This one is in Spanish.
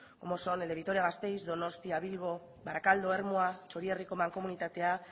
como son el de vitoria gasteiz el de donostia bilbo barakaldo ermua txorierriko mankomunitatea